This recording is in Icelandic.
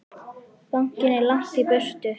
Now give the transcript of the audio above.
Bankinn er langt í burtu.